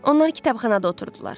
Onlar kitabxanada oturdular.